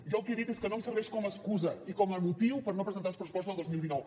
jo el que he dit és que no em serveix com a excusa i com a motiu per no presentar uns pressupostos el dos mil dinou